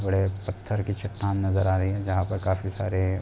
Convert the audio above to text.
बड़े पत्थर की चट्टान नजर आ रही है जहाँ पर काफी सारे --